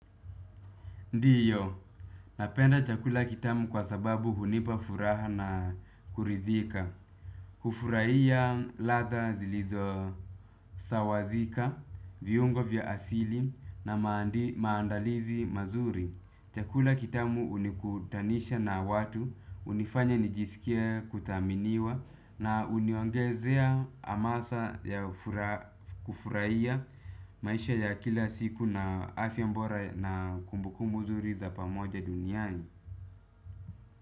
Ndiyo, napenda chakula kitamu kwa sababu hunipa furaha na kuridhika. Kufurahia ladha zilizosawazika, viungo vya asili na maandalizi mazuri. Chakula kitamu hunikutanisha na watu, hunifanya nijisikie kuthaminiwa. Na huniongezea amasa ya kufurahia maisha ya kila siku na afya bora na kumbukumbu nzuri za pamoja duniani.